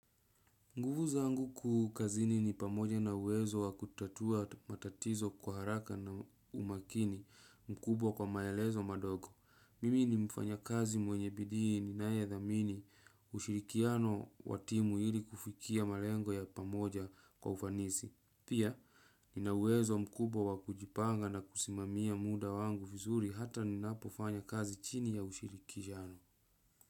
Nguvu zangu kuu kazini ni pamoja na uwezo wa kutatua matatizo kwa haraka na umakini mkubwa kwa maelezo madogo. Mimi ni mfanyakazi mwenye bidii ninayedhamini ushirikiano wa timu ili kufikia malengo ya pamoja kwa ufanisi. Pia nina uwezo mkubwa wa kujipanga na kusimamia muda wangu vizuri hata ninapofanya kazi chini ya ushirikiano.